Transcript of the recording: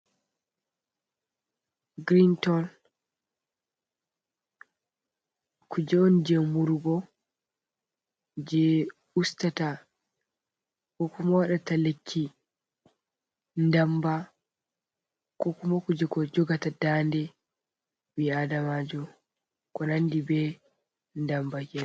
Girinton. kuje’on je murugo, je ustata kokuma waɗata lekki ndamba, ko kuma kuje ko jogata dande bi adamajo ko nandi be damba kenan.